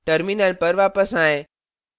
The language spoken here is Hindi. terminal पर वापस आएँ